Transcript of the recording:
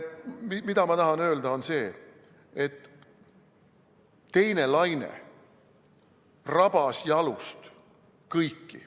Mida ma tahan öelda, on see, et teine laine rabas jalust kõiki.